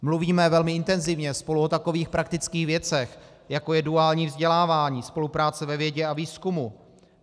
Mluvíme velmi intenzivně spolu o takových praktických věcech, jako je duální vzdělávání, spolupráce ve vědě a výzkumu.